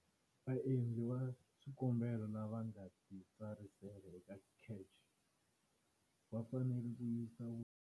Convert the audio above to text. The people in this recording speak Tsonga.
Vaendli va swikombelo lava nga titsarisa eka CACH va fanele ku yisa.